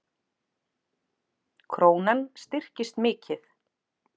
Krónan styrkist mikið